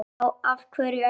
Já, af hverju ekki?